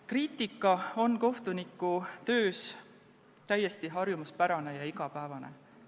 Kriitika on kohtunikutöös täiesti harjumuspärane ja igapäevane.